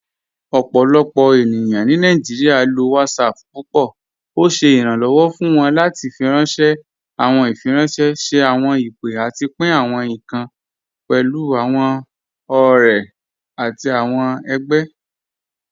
Ọpọlọpọ ènìyàn ni Nàìjíríà ló WhatsApp púpọ. Ọ̀ ṣẹ iránlọ́wọ̀ fún wọn láti fíranṣẹ̀ àwọn ìfiránṣẹ̀, ṣẹ̀ àwọn ìpè, àtì pín àwọn ìkàn pẹ̀lú àwọn ọ̀rẹ̀ àtì àwọn ẹgbẹ̀.